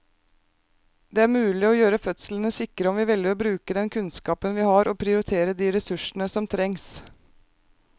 Det er mulig å gjøre fødslene sikre om vi velger å bruke den kunnskapen vi har og prioritere de ressursene som trengs.